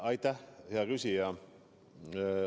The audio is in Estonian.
Aitäh, hea küsija!